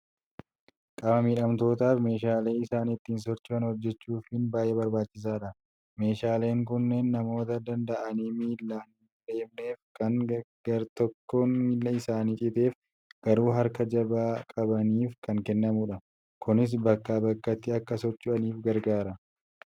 Qaama miidhamtootaaf meeshaalee isaan ittiin socho'an hojjechuufiin baay'ee barbaachisaadha. Meeshaaleen kunneen namoota danda'anii miilaan hin adeemneef, kan gartokkoon miila isaanii citeef garuu harka jabaa qabaniif kan kennamudha. Kunis bakkaa bakkatti akka socho'anii gargaara.